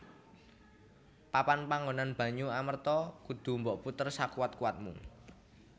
Papan panggonan banyu Amerta kudu mbok puter sakuwat kuwatmu